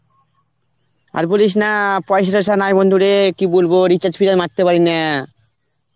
আর বলিস না, পয়সা টয়সা নাই বন্ধুরে কি বলবো recharge ফিচার্জ মারতে পারি না.